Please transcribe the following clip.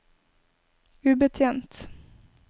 ubetjent